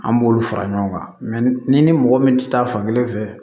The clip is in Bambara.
An b'olu fara ɲɔgɔn kan n'i ni mɔgɔ min tɛ taa fan kelen fɛ